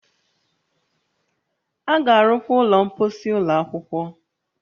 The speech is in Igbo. A ga-arụkwa ụlọ mposi ụlọ akwụkwọ